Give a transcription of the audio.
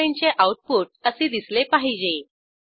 असाईनमेंटचे output असे दिसले पाहिजे